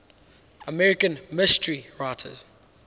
american mystery writers